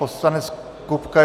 Poslanec Kupka.